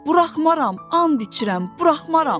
Buraxmaram, and içirəm, buraxmaram.